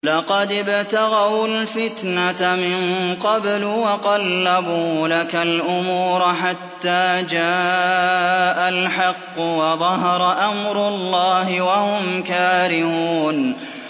لَقَدِ ابْتَغَوُا الْفِتْنَةَ مِن قَبْلُ وَقَلَّبُوا لَكَ الْأُمُورَ حَتَّىٰ جَاءَ الْحَقُّ وَظَهَرَ أَمْرُ اللَّهِ وَهُمْ كَارِهُونَ